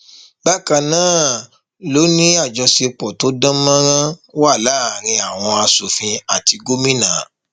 bákan náà ló ní àjọṣepọ tó dán mọrán wà láàrin àwọn aṣòfin àti gómìnà